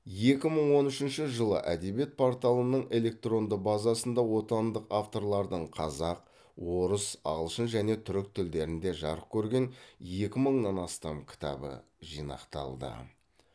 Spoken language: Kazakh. екі мың он үшінші жылы әдебиет порталының электронды базасында отандық авторлардың қазақ орыс ағылшын және түрік тілдерінде жарық көрген екі мыңнан астам кітабы жинақталды